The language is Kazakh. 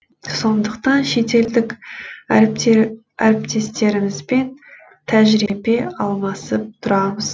сондықтан шетелдік әріптестерімізбен тәжірибе алмасып тұрамыз